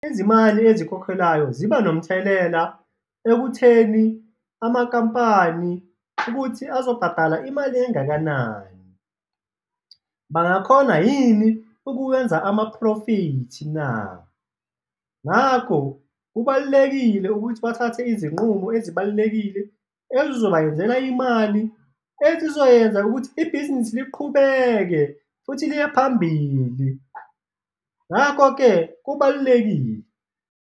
Izimali ezikhokhelwayo ziba nomthelela ekutheni amakampani ukuthi azobhadala imali engakanani, bangakhona yini ukuwenza amaphrofithi na? Ngakho, kubalulekile ukuthi bathathe izinqumo ezibalulekile ezizobayenzela imali, ezizoyenza ukuthi ibhizinisi liqhubeke futhi liye phambili, ngakho-ke kubalulekile.